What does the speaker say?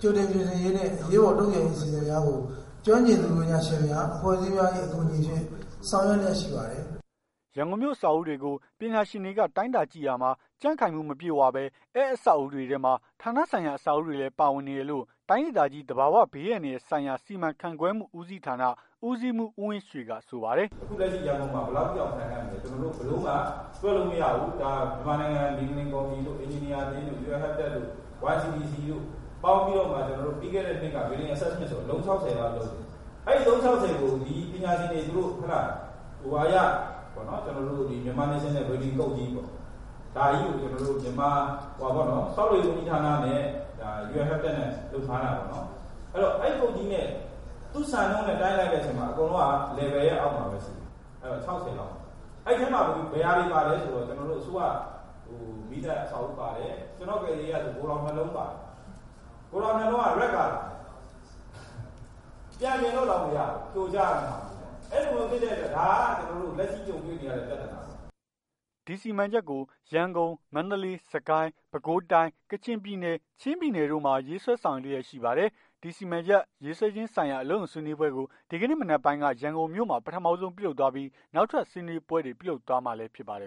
ကြိုတင်ပြင်ဆင်ရေးနှင့် အရေးပေါ် တုံ့ပြန်ရေးအစီအမံများကို ကျွမ်းကျင်သူ ပညာရှင်များ အဖွဲ့အစည်းများ၏ အကူအညီဖြင့် ဆောင်ရွက်လျက် ရှိပါတယ်။" ရန်ကုန်မြို့ အဆောက်အဦးတွေကို ပညာရှင်တွေက တိုင်းတာကြည့်ရာမှာ ကြံ့ခိုင်မှု မပြည့်ဝဘဲ အဲ့အဆောက် အဦးတွေထဲမှာ ဌာနဆိုင်ရာ အဆောက်အဦးတွေလည်း ပါဝင်နေတယ်လို့ တိုင်းဒေသကြီး သဘာဝဘေးအန္တ ရာယ်ဆိုင်ရာ စီမံခန့်ခွဲမှုဦးဌာန ဦးစီးမှုး ဦးဝင်ရွှေက ဆိုပါတယ်။ "အခုလက်ရှိ ရန်ကုန်မှာ ဘယ်လောက်ထိတောင် ခိုင်ခံ့မလည်းဆိုတာ ဘယ်လိုမှ တွက်လို့မရဘူး။ မြန်မာနိုင်ငံ မြေငလျင် ကော်မတီတို့ အင်ဂျင်နီယာအသင်းတို့ Un habitat တို့ YCDC တို့ ပေါင်းပြီးတော့မှ ပြီးခဲ့တဲ့နှစ်က Building Assessment အလုံး ၆၀ လောက်လုပ်တယ်။ အဲ့အလုံး ၆၀ ကို ဒီပညာရှင်တွေ သူတို့ Myanmar National Building Code ကြီးကို ဆောက်လုပ်ရေး ဝန်ကြီးဌာနနဲ့ Un habitat တို့ လုပ်ထားတာပေါ့နော်။ အဲ့ code ကြီးနဲ့ သူ့စံနှုန်းနဲ့ တိုင်းလိုက်တဲ့အခါကျတော့ အကုန်လုံးက Level ရဲ့အောက်မှာပဲရှိတယ်။ ၆၀ လောက်ပဲရှိတယ်။ အဲ့ထဲမှာ ဘယ်ဟာတွေပါလည်းဆိုတော့ ကျွန်တော်တို့ အစိုးရ မီးသတ်အဆောက်အဦး ပါတယ်။ ကျွန်တော့်ကယ်ဆယ်ရေးကဆို ဂိုထောင် ၂ လုံးပါတယ်။ ဂိုထောင် ၂ လုံးက Red Colour ပြန်ပြင်လို့ တောင်မရဘူး ဖြိုချရမယ့်ဟာမျိုးပေါ့ အဲ့လိုမျိုးဖြစ်တဲ့အတွက် ဒါကကျွန်တော်တို့ လက်ရှိကြုံတွေ့နေရတဲ့ ပြသာနာပေါ့။" ဒီစီမံချက်ကို ငလျင်ရန်ကုန် မန္တလေး စစ်ကိုင်း ပဲခူးတိုင်း ကချင်ပြည်နယ် ချင်းပြည်နယ်တို့မှာ ရေးဆွဲ ဆောင်ရွက်လျက်ရှိပါတယ်။ ဒီစီမံချက်ရေးဆွဲခြင်းဆိုင်ရာ အလုပ်ရုံဆွေးနွေးပွဲကို ဒီကနေ့ မနက်ပိုင်းက ရန်ကုန်မြို့မှာ ပထမဆုံး ပြုလုပ်သွားပြီး နောက်ထပ် ဆွေးနွေးပွဲတွေ ပြုလုပ်သွားမှာလည်း ဖြစ်ပါတယ်